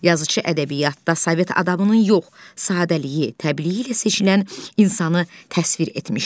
Yazıçı ədəbiyyatda sovet adamının yox, sadəliyi, təbiiyiliyi ilə seçilən insanı təsvir etmişdi.